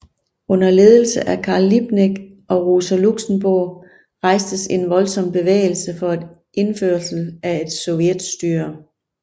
Under ledelse af Karl Liebknecht og Rosa Luxemburg rejstes en voldsom bevægelse for indførelse af et sovjetstyre